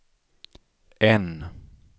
N